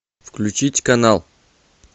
включить канал